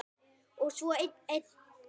Og svo einn enn.